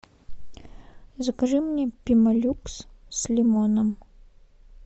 закажи мне пемолюкс с лимоном